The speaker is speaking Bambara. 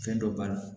Fɛn dɔ b'a la